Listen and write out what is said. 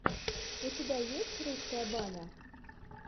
у тебя есть русская баня